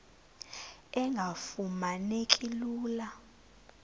engafuma neki lula